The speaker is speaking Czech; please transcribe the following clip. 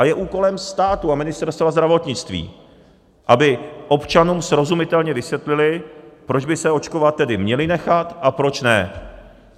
A je úkolem státu a Ministerstva zdravotnictví, aby občanům srozumitelně vysvětlili, proč by se očkovat tedy měli nechat a proč ne.